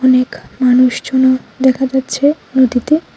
অনেক মানুষজনও দেখা যাচ্ছে নদীতে।